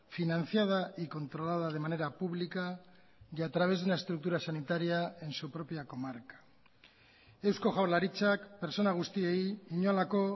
financiada y controlada de manera pública y a través de una estructura sanitaria en su propia comarca eusko jaurlaritzak pertsona guztiei inolako